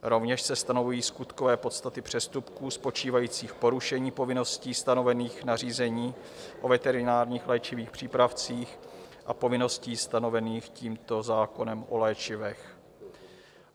Rovněž se stanovují skutkové podstaty přestupků spočívajících v porušení povinností stanovených nařízení o veterinárních léčivých přípravcích a povinností stanovených tímto zákonem o léčivech.